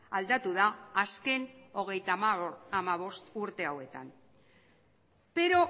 aldatu da azken hogeita hamabost urte hauetan pero